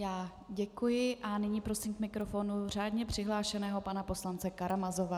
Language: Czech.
Já děkuji a nyní prosím k mikrofonu řádně přihlášeného pana poslance Karamazova.